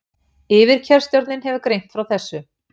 Yfirkjörstjórnin hefur greint frá þessu